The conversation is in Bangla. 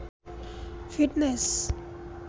ফিটনেস